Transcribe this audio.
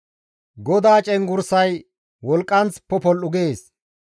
GODAA cenggurssay wolqqanth popol7u gees.